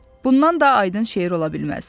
Bundan da aydın şeir ola bilməz.